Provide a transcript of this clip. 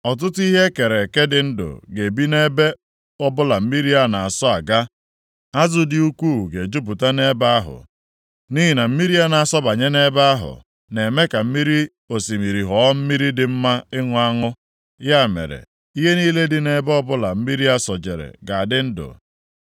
Ọtụtụ ihe e kere eke dị ndụ ga-ebi nʼebe ọbụla mmiri a na-asọ aga. Azụ dị ukwuu ga-ejupụta nʼebe ahụ, nʼihi na mmiri a na-asọbanye nʼebe ahụ, na-eme ka mmiri osimiri ghọọ mmiri dị mma ịṅụ aṅụ. Ya mere, ihe niile dị nʼebe ọbụla mmiri a sọjere ga-adị ndụ.